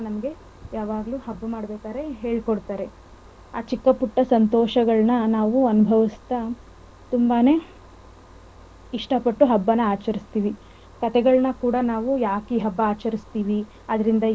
ಹೇಳಕೊಡ್ತಾರೆ ಆ ಚಿಕ್ಕ ಪುಟ್ಟ ಸಂತೋಷಗಳನ್ನ ನಾವು ಅನ್ಭವಿಸ್ತ ತುಂಬಾನೇ ಇಷ್ಟಪಟ್ಟು ಹಬ್ಬನ ಆಚರಿಸ್ತಿವಿ. ಕಥೆಗಳನ್ನ ಕೂಡ ನಾವು ಯಾಕ್ ಈ ಹಬ್ಬ ಆಚರಿಸ್ತಿವಿ ಅದರಿಂದ ಏನ್ ಕಲಿಬಹುದು.